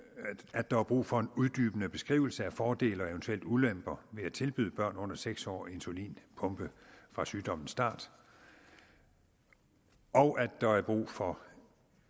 at der er brug for en uddybende beskrivelse af fordele og eventuelle ulemper ved at tilbyde børn under seks år insulinpumpe fra sygdommens start og at der er brug for